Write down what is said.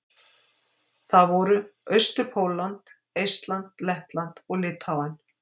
Það voru: Austur-Pólland, Eistland, Lettland og Litháen.